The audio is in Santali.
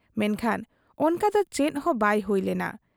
ᱢᱮᱱᱠᱷᱟᱱ ᱚᱱᱠᱟ ᱫᱚ ᱪᱮᱫ ᱦᱚᱸ ᱵᱟᱭ ᱦᱩᱭ ᱞᱮᱱᱟ ᱾